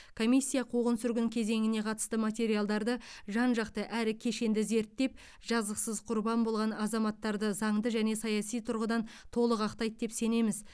комиссия қуғын сүргін кезеңіне қатысты материалдарды жан жақты әрі кешенді зерттеп жазықсыз құрбан болған азаматтарды заңды және саяси тұрғыдан толық ақтайды деп сенеміз